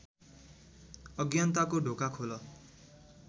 अज्ञानताको ढोका खोल